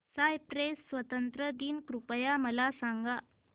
Cyprus स्वातंत्र्य दिन कृपया मला सांगा